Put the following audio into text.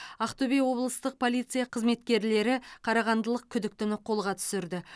ақтөбе облыстық полиция қызметкерлері қарағандылық күдіктіні қолға түсірді